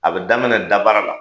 A bɛ daminɛ dabara la.